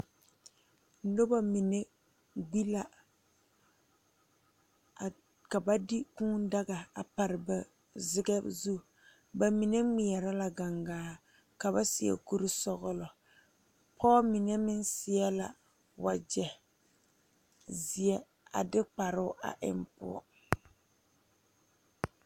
Nobɔ mine gbi la ka ba de kūū daga a pare ba zigɛ zu ba mine ngmeɛrɛ la gaŋgaa ka ba seɛ kurisɔglɔ pɔɔ mine meŋ seɛ la wagyɛ zeɛ a de kparoo a eŋ poɔ.